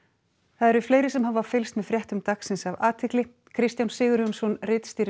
það eru fleiri sem hafa fylgst með fréttum dagsins af athygli Kristján Sigurjónsson ritstýrir